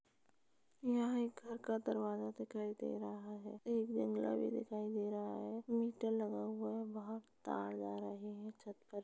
यहाँ एक घर का दरवाजा दिखाई दे रहा है। एक जंगला भी दिखाई दे रहा है। मीटर लगा हुआ है। बाहर तार जा रहे हैं छत पर।